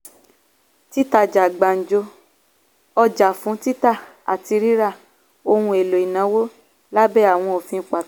títajà gbanjo ọjà fún títa àti ríra ohun èlò ìnáwó lábẹ́ àwọn òfin pàtó.